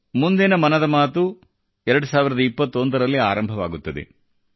ಮುಂದಿನ ಮನದ ಮಾತು 2021 ರಲ್ಲಿ ಆರಂಭವಾಗುತ್ತದೆ